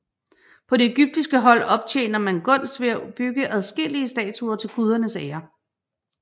På det egyptiske hold optjener man gunst ved at bygge adskillige statuer til gudernes ære